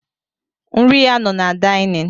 Nri ya no na daịnịn.